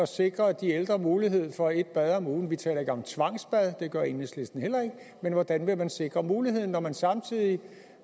sikre de ældre mulighed for et bad om ugen vi taler ikke om tvangsbad det gør enhedslisten heller ikke men hvordan vil man sikre muligheden når man samtidig